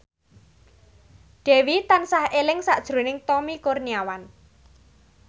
Dewi tansah eling sakjroning Tommy Kurniawan